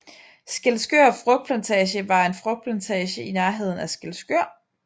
Skælskør Frugtplantage var en frugtplantage i nærheden af Skælskør